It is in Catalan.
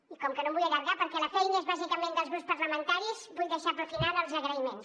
i com que no em vull allargar perquè la feina és bàsicament dels grups parlamentaris vull deixar per al final els agraïments